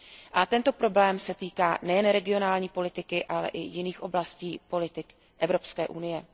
A tento problém se týká nejenom regionální politiky, ale i jiných oblastí politik Evropské unie.